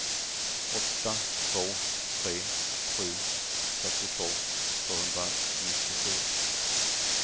åtta två tre sju fyrtiotvå tvåhundranittiofyra